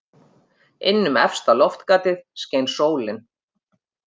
Inn um efsta loftgatið skein sólin.